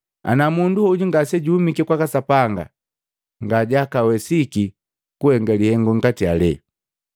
Ana mundu hoju ngasejahumiki kwaka Sapanga, ngajakawesiki kuhenga lihengu ngati alele.”